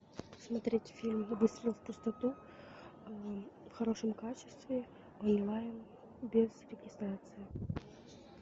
смотреть фильм выстрел в пустоту в хорошем качестве онлайн без регистрации